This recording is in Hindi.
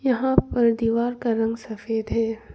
यहां पर दीवार का रंग सफेद है।